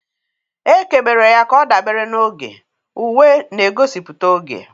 Ekebere ya ka ọ dabara n'oge, uwe na-egosipụta oge.